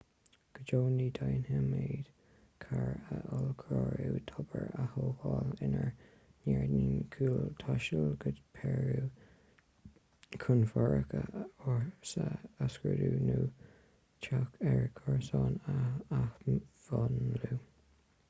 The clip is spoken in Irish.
go deo ní dhéanfaimid carr a ollchóiriú tobair a thógáil inár ngairdín cúil taisteal go peiriú chun fothracha ársa a scrúdú nó teach ár gcomharsan a athmhúnlú